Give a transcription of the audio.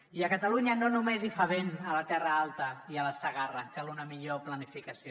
i a catalunya no només fa vent a la terra alta i a la segarra cal una millor planificació